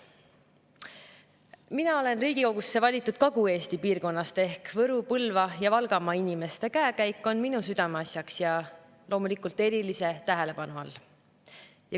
Mina olen Riigikogusse valitud Kagu-Eesti piirkonnast ehk Võru-, Põlva‑ ja Valgamaa inimeste käekäik on minu südameasjaks ja loomulikult erilise tähelepanu all.